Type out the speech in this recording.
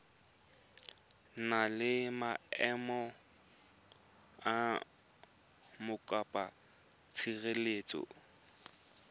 na le maemo a mokopatshireletso